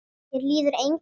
Mér líður engan veginn.